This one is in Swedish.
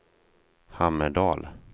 Hammerdal